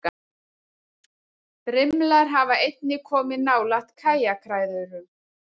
Brimlar hafa einnig komið nálægt kajakræðurum.